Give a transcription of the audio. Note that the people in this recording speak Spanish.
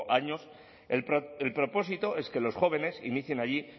años el propósito es que los jóvenes inicien allí